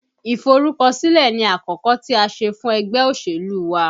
Iforukosile ni àkọ́kọ́ tí a ṣe fún ẹgbẹ́ òṣèlú wa